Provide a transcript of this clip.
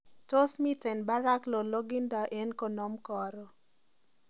Tos miten barak lolongindo eng konom karon